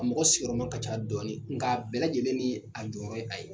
A mɔgɔ sigiyɔrɔma ka ca dɔɔni nka a bɛɛ lajɛlen ni a jɔyɔrɔ ye a ye